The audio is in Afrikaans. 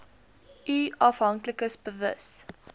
u afhanklikes bewus